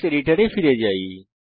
text এডিটরে ফিরে যান